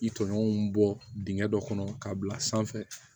I tɔɲɔgɔnw bɔ dingɛ dɔ kɔnɔ k'a bila sanfɛ